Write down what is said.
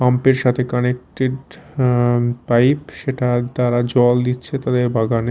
Pump -এর সাথে connected আঃ পাইপ সেটা তারা জল দিচ্ছে তাদের বাগানে।